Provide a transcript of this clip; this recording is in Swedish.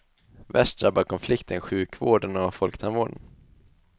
Värst drabbar konflikten sjukvården och folktandvården.